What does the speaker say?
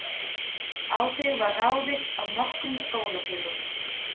Á þig var ráðist af nokkrum skólafélögum.